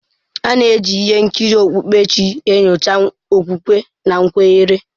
A na-eji ihe nkiri okpukpere chi enyocha okwukwe na nkwere.